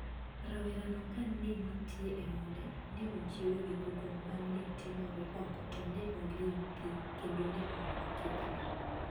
Rawerano ka ne nitie e ode, ne ochiewe gi koko ma ne timore oko to ne oling` thi kendo ne ok okithni.